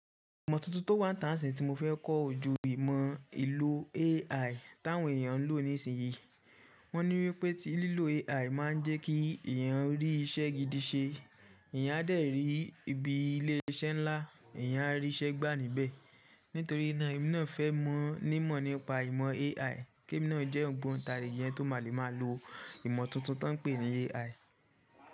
Ìmọ̀ tuntun tó wà n tán sì tí mo fẹ́ kọ́ oju ìmọ̀ ìlò AI táwọn èèyàn ń lò nísinyí. Wọ́n ní wípé tí lílò AI máa ń jẹ́ kí ẹ̀eyàn rí iṣẹ́ gidi ṣe, ẹ̀eyàn á dẹ̀ rí ibi ilé iṣẹ́ ńlá, ẹ̀eyàn á rí iṣẹ́ gbà níbẹ̀. Nítorí náà, èmi náà fẹ́ mọ̀ ní mọ̀ nípa ìmọ̀ AI, kí èmi náà jẹ́ òǹgbóǹtarìgi eni tó máa lè máa lo ìmọ̀ tuntun tó ń pè ní AI.